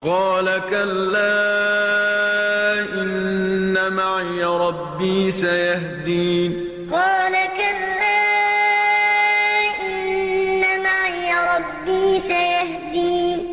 قَالَ كَلَّا ۖ إِنَّ مَعِيَ رَبِّي سَيَهْدِينِ قَالَ كَلَّا ۖ إِنَّ مَعِيَ رَبِّي سَيَهْدِينِ